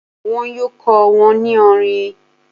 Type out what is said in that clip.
Wọn yóò kọ́ wọn ní orin.